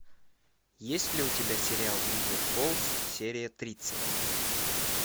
есть ли у тебя сериал бивер фолс серия тридцать